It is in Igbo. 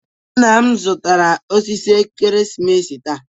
Nna m zụtara osisi ekeresimesi taa.